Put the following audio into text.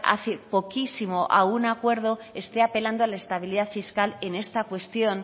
hace poquísimo a un acuerdo esté apelando a la estabilidad fiscal en esta cuestión